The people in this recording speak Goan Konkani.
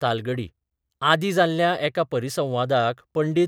तालगडी आदीं जाल्ल्या एका परिसंवादाक पं.